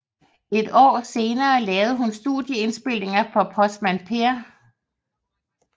Et år senere lavede hun studieindspilninger for Postmand Per